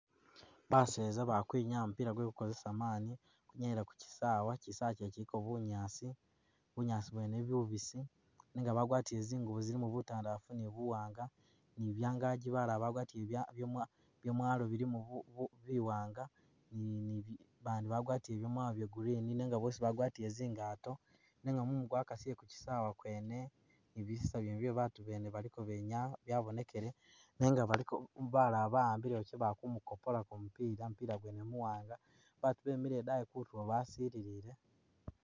Baseza bali kwinyaya mupila gwe kukozesa mani bakwinyayila kukyisawe kyisawe kyene kyiliko bunyaasi ,bunyaasi bwene bubisi nenga bagwatile zingubo zilimo butandafu ni buwanga ni byangagi balala bagwatile byamwalo bilimo biwanga bandi bagwatile byamwalo bya green nenga bosi bagwatule zingato nenga mumu gwakasile kukyisawa kyene ni bisisa byene bye batu bene balikobenyaya babonekele nenga baliko balala bawambile wakye bakumukopolako mupila , mupila gwene muwanga , batu bemile idayi kutulo basililiye.